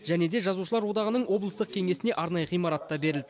және де жазушылар одағының облыстық кеңесіне арнайы ғимарат та берілді